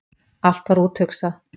Allt var úthugsað.